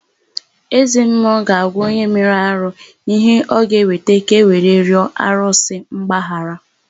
Ezemmụọ ga-agwa onye mere arụ ihe ọ ga-eweta ka ewe rịọ arụsị mgbaghara.